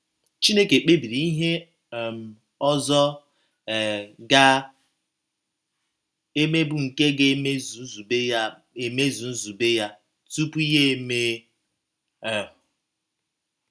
Chineke kpebiri ihe um ọzọ um ga - eme bụ́ nke ga - emezu nzube ya emezu nzube ya, tupu ya emee um